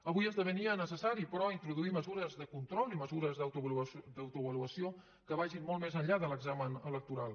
avui esdevenia necessari però introduir mesures de control i mesures d’autoavaluació que vagin molt més enllà de l’examen electoral